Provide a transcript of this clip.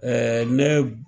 Ɛɛ ne